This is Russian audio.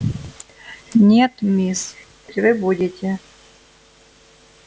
нет мисс вы будете